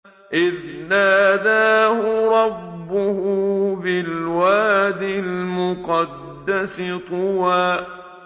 إِذْ نَادَاهُ رَبُّهُ بِالْوَادِ الْمُقَدَّسِ طُوًى